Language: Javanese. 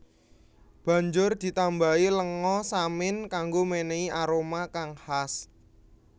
Banjur ditambahi lenga samin kanggo menehi aroma kang khas